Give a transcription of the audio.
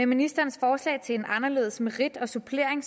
ministerens forslag til en anderledes merit og supplering